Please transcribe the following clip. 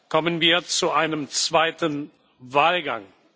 kommen wir zu einem zweiten Wahlgang.